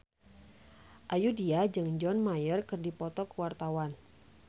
Ayudhita jeung John Mayer keur dipoto ku wartawan